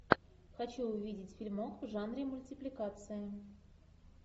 хочу увидеть фильмок в жанре мультипликация